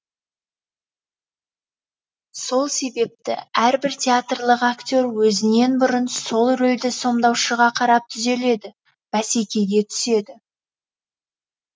сол себепті әрбір театрлық акте р өзінен бұрын сол рөлді сомдаушыға қарап түзеледі бәсекеге түседі